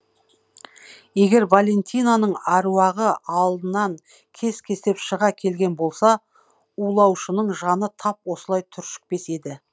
егер валентинаның аруағы алдынан кес кестеп шыға келген болса улаушының жаны тап осылай түршікпес еді